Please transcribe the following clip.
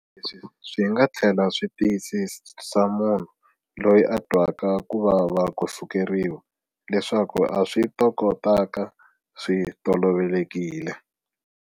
Leswi swi nga tlhela swi tiyisisa munhu loyi a twaka ku vava ko sukeriwa leswaku a swi tokotaka swi tolovelekile.